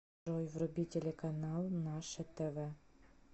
джой вруби телеканал наше тв